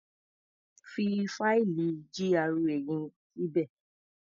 Fi fáìlì GRA yẹn síbí.